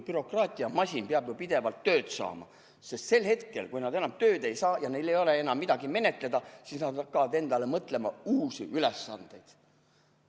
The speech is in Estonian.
Bürokraatiamasin peab ju pidevalt tööd saama, sest sel hetkel, kui ametnikud enam tööd ei saa ja neil ei ole enam midagi menetleda, siis nad hakkavad endale mõtlema uusi ülesandeid.